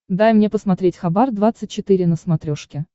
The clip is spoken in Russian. дай мне посмотреть хабар двадцать четыре на смотрешке